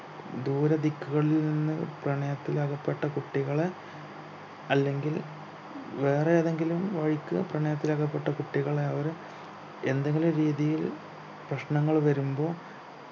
ദൂരദിക്കുകളിൽ നിന്നു പ്രണയത്തിൽ അകപ്പെട്ട കുട്ടികളെ അല്ലെങ്കിൽ വേറെ ഏതെങ്കിലും വഴിക്ക് പ്രണയത്തിൽ അകപ്പെട്ട കുട്ടികളെ അവർ എന്തെങ്കിലും രീതിയിൽ പ്രശ്നങ്ങൾ വരുമ്പോ